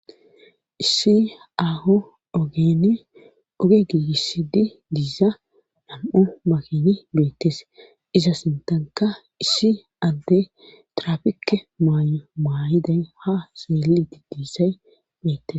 issi aho enoge giigissi di diiza nam7u makini beettes iza sintanka isshi ande trafike maay7o maayiday ha seelidi diisay beettes